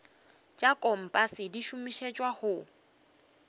tša kompase di šomišetšwa go